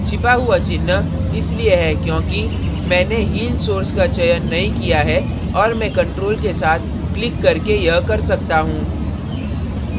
छिपा हुआ चिन्ह इसलिए है क्योंकि मैंने heal source का चयन नहीं किया है और मैं control के साथ click करके यह कर सकता हूँ